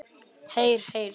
Heyr, heyr.